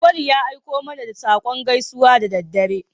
Auwalu ya aiko mana da saƙon gaisuwa da daddare.